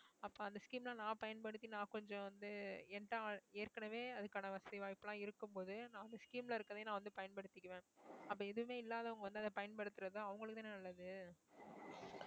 அப்ப அந்த scheme அ நான் பயன்படுத்தி நான் கொஞ்சம் வந்து ஏற்கனவே அதுக்கான வசதி வாய்ப்பு எல்லாம் இருக்கும்போது நான் வந்து scheme ல இருக்கிறதையும் நான் வந்து பயன்படுத்திக்குவேன் அப்ப எதுவுமே இல்லாதவங்க வந்து அதை பயன்படுத்துறது அவங்களுக்கு தானே நல்லது